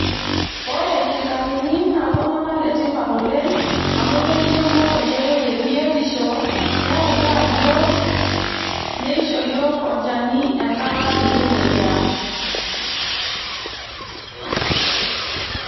Ore irkitarini naa iltunganak le tipat oleng amu keisho yiook enkoitoi e biotisho neutaa yiok ,neisho yiook olchani enkata nikimoyiaa .